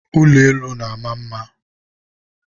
ụlọ elu na-ama mma.